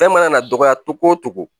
Fɛn mana dɔgɔya togo o cogo